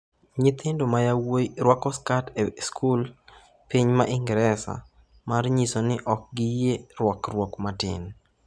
Nyithindo ma yawuowi rwako skat e skul e piny Ingresa mar nyiso ni ok giyie rwakruok matin